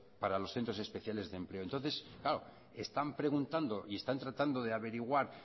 para los centros especiales de empleo entonces claro están preguntando y están tratando de averiguar